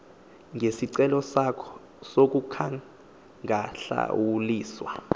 ngesicelo sakho sokungahlawuliswa